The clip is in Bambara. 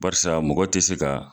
Barisa mɔgɔ tɛ se ka